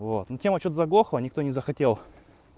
вот но тема что-то заглохла никто не захотел